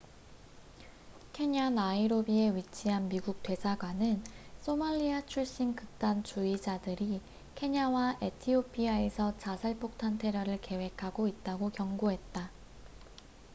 "케냐 나이로비에 위치한 미국 대사관은 "소말리아 출신 극단 주의자들""이 케냐와 에티오피아에서 자살폭탄 테러를 계획하고 있다고 경고했다.